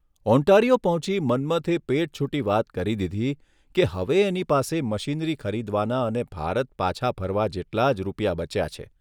Ontario પહોંચી મન્મથ એ પેટછૂટી વાત કરી દીધી કે હવે એની પાસે મશીનરી ખરીદવાના અને ભારત પાછા ફરવા જેટલા જ રૂપિયાા બચ્યા છે.